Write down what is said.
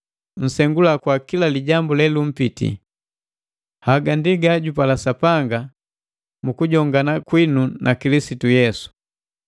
munsengula kwa kila lijambu lelumpiti. Haga ndi gajugapala Sapanga mu kujongana kwinu na Kilisitu Yesu.